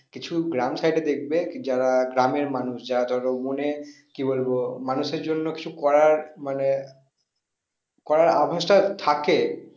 কিছু গ্রাম side এ দেখবে যারা গ্রামের মানুষ যারা ধরো মনে কি বলবো মানুষের জন্য কিছু করার মানে করার আভাসটা থাকে